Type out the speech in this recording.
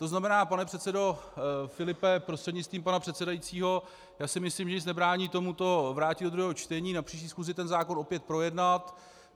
To znamená, pane předsedo Filipe prostřednictvím pana předsedajícího, já si myslím, že nic nebrání tomuto vrátit do druhého čtení, na příští schůzi ten zákon opět projednat.